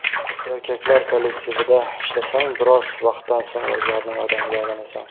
Erkaklar kollektivida ishlasang, biroz vaqtdan so‘ng o‘zlarining odamiga aylanasan.